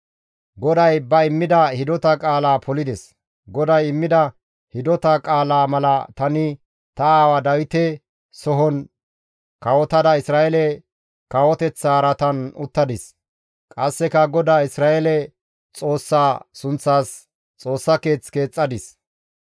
«GODAY ba immida hidota qaala polides; GODAY immida hidota qaalaa mala tani ta aawaa Dawite sohon kawotada Isra7eele kawoteththa araatan uttadis. Qasseka GODAA Isra7eele Xoossaa sunththas Xoossa keeth keexxadis.